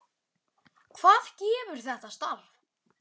Hvað gefur þetta starf?